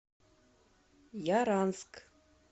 яранск